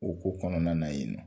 O ko kɔnɔna na yen nɔ